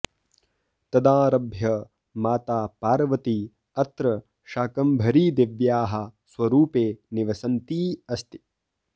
तदारभ्य माता पार्वती अत्र शाकम्भरीदेव्याः स्वरूपे निवसन्ती अस्ति